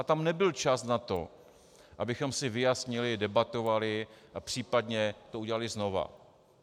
A tam nebyl čas na to, abychom si vyjasnili, debatovali a případně to udělali znovu.